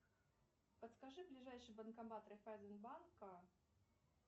подскажи ближайший банкомат райффайзен банка